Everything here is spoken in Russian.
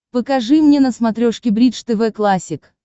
покажи мне на смотрешке бридж тв классик